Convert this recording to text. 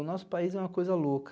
O nosso país é uma coisa louca.